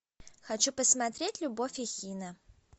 хочу посмотреть любовь и хина